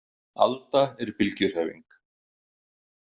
Alda er bylgjuhreyfing.